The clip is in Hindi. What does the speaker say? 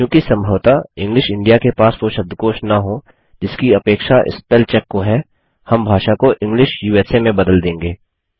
चूँकि सम्भवतः इंग्लिश इंडिया के पास वो शब्दकोष न हो जिसकी अपेक्षा स्पेल चेक को है हम भाषा को इंग्लिश उसा में बदल देंगे